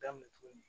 Daminɛ tuguni